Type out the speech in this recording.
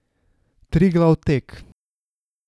Triglav tek.